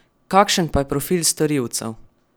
Kakšen pa je profil storilcev?